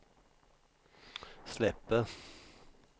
släpper